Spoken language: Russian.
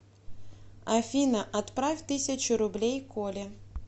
афина отправь тысячу рублей коле